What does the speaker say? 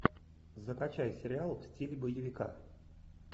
закачай сериал в стиле боевика